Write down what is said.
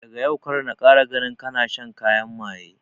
Daga yau kar na kara ganin kana shan kayan maye